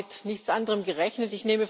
Wir haben mit nichts anderem gerechnet.